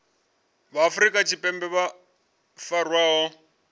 vha afrika tshipembe vho farwaho